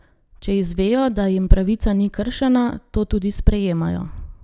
Če izvejo, da jim pravica ni kršena, to tudi sprejemajo.